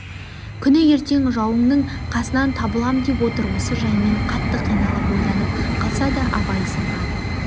күні ертең жауыңның қасынан табылам деп отыр осы жаймен қатты қиналып ойланып қалса да абай сынған